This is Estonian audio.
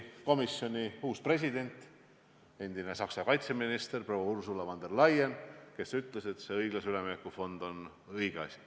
Komisjoni uus president, endine Saksa kaitseminister proua Ursula von der Leyen ütles, et õiglase ülemineku fond on õige asi.